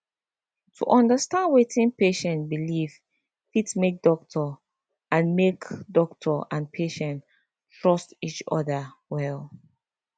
to understand wetin patient believe fit make doctor and make doctor and patient trust each other well